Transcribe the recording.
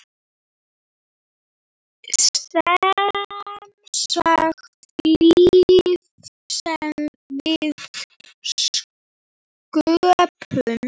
Semsagt líf sem við sköpum.